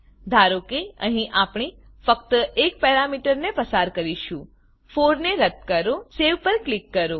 ધારો કે અહી આપણે ફક્ત એક પેરામીટરને પસાર કરીશું 4 ને રદ્દ કરો સવે સેવપર ક્લિક કરો